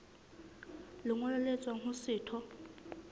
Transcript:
lengolo le tswang ho setho